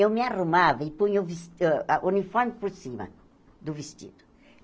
Eu me arrumava e punha o ves uh a uniforme por cima do vestido.